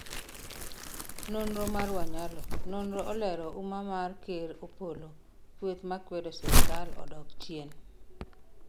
nonro mar wanyalo:nonro olero umma amar Ker Opollo ,kueth makwedo sirkal odok chien